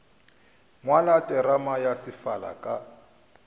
ngwala terama ya sefala ka